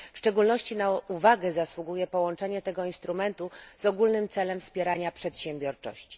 W szczególności na uwagę zasługuje połączenie tego instrumentu z ogólnym celem wspierania przedsiębiorczości.